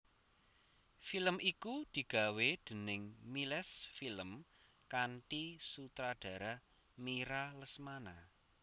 Film iku digawé déning Miles Film kanthi sutradara Mira Lesmana